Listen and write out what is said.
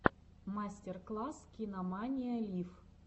мастер класс кинамания лив